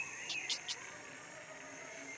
Auk þess hefur hann ekkert með hana að gera.